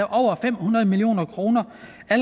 over fem hundrede million kroner